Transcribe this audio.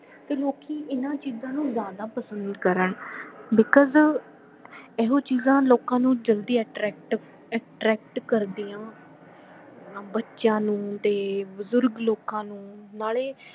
ਤੇ ਲੋਕੀ ਇਹਨਾਂ ਚੀਜਾਂ ਨੂੰ ਜ਼ਿਆਦਾ ਪਸੰਦ ਕਰਨ because ਇਹੋ ਚੀਜਾਂ ਲੋਕਾਂ ਨੂੰ ਜਲਦੀ attract attract ਕਰਦਿਆਂ ਬੱਚਿਆਂ ਨੂੰ ਤੇ ਬਜ਼ੁਰਗ ਲੋਕਾਂ ਨੂੰ ਨਾਲੇ